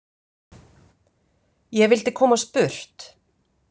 Ég vildi komast burt.